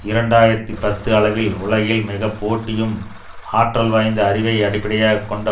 இரண்டு ஆயிரத்தி பத்து அளவில் உலகின் மிக போட்டியும் ஆற்றல் வாய்ந்த அறிவை அடிப்படையாக கொண்ட